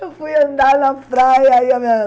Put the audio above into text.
Eu fui andar na praia aí